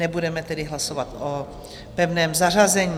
Nebudeme tedy hlasovat o pevném zařazení.